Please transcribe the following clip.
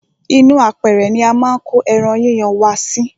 ínú apẹrẹ ni a máa ń ko ẹran yíyan wa sí.